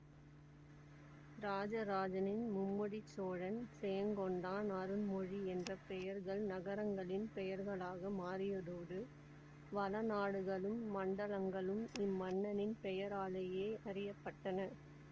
இராஜராஜனின் மும்முடிச் சோழன் செயங்கொண்டான் அருண்மொழி என்ற பெயர்கள் நகரங்களின் பெயர்களாக மாறியதோடு வளநாடுகளும் மண்டலங்களும் இம்மன்னனின் பெயராலேயே அறிய பட்டன